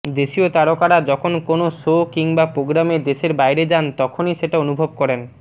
দেশিয় তারকারা যখন কোন শো কিংবা প্রোগ্রামে দেশের বাইরে যান তখনই সেটা অনুভব করেন